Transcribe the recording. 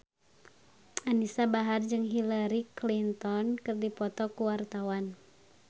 Anisa Bahar jeung Hillary Clinton keur dipoto ku wartawan